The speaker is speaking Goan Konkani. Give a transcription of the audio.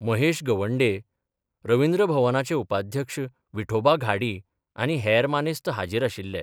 महेश गवंडे, रवींद्र भवनाचे उपाध्यक्ष विठोबा घाडी आनी हेर मानेस्त हाजीर आशिल्ले.